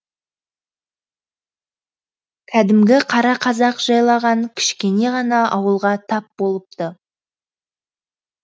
кәдімгі қара қазақ жайлаған кішкене ғана ауылға тап болыпты